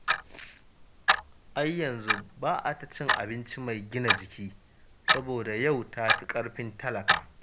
Ai yanzu ba a ta cin abinci mai gina jiki, saboda yau ta fi ƙarfin talaka.